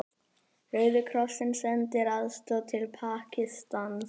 Rauði krossinn sendir aðstoð til Pakistans